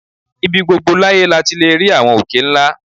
Ibi gbogbo láyé la ti lè rí àwọn òkè ńlá